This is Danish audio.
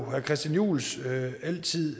herre christian juhls altid